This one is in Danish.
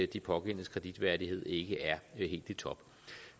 de pågældendes kreditværdighed ikke er helt i top